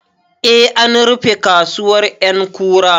Eh, an rufe kasuwar ƴankura